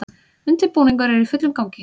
Undirbúningur er í fullum gangi